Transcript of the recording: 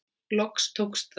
Loks tókst það.